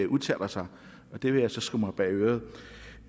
udtaler sig det vil jeg så skrive mig bag øret